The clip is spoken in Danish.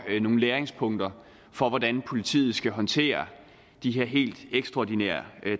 nogle læringspunkter for hvordan politiet skal håndtere de her helt ekstraordinære